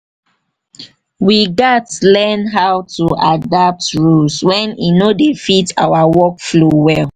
we gats learn to adapt rules wen e no dey fit our workflow well.